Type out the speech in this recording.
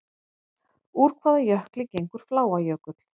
Úr hvaða jökli gengur Fláajökull?